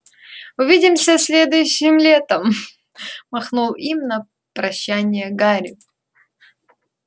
увидимся следующим летом махнул им на прощанье гарри